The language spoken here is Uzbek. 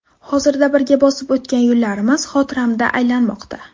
Hozirda birga bosib o‘tgan yo‘llarimiz xotiramda aylanmoqda.